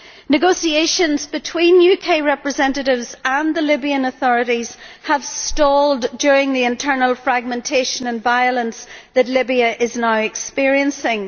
Negotiations between UK representatives and the Libyan authorities have stalled during the internal fragmentation and violence that Libya is now experiencing.